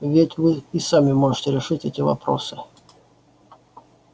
ведь вы и сами можете решить эти вопросы